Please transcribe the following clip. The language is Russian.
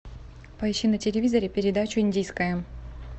поищи на телевизоре передачу индийское